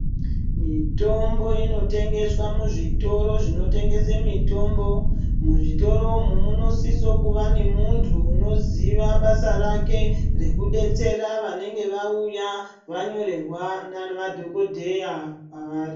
Mitombo inotengeswa muzvitoro zvinotengese mutombo muzvitoro umu munosise kuve ne munhu unoziya basa rake rwkudetsera vanenge vauya vanyorerwa navadhokodheya kwavari.